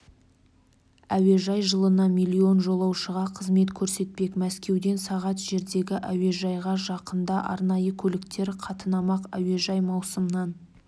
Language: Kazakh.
әуежай жылына млн жолаушыға қызмет көрсетпек мәскеуден сағат жердегі әуежайға жақында арнайы көліктер қатынамақ әуежай маусымнан